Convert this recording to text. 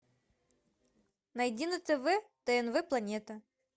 найди на тв тнв планета